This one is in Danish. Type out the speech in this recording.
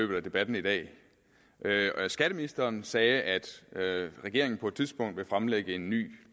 løbet af debatten i dag skatteministeren sagde at regeringen på et tidspunkt vil fremlægge en ny